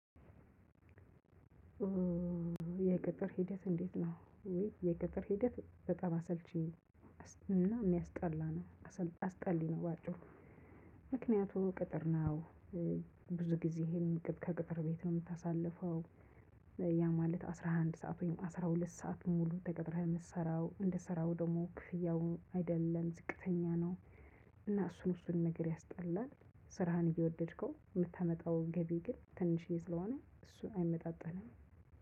የቅጥር ሂደት እንዴት ነው? የቅጥር ሂደት በጣም አሰልቺ እና የሚያስጠላ ነው። አስጠሊ ነው በአጪሩ። ምክንያቱም ቅጥር ነው። ብዙ ጊዜ ይሄን ከቅጥር ቤት ነው የምታሳልፈው። ያ ማለት አስራ አንድ ሰዓት ወይም አስራ ሁለት ሰዓት ሙሉ ተቀጥረህ የምትሰራው እንደሰራው ደግሞ ክፍያው አይደለም ዝቅተኛ ነው። እና እሱን እሱን ነገር ያስጠላል። ስራህን እየወደድከው የምታመጣው ገቢ ግን ትንሽዬ ስለሆነ እሱን አይመጣጠንም።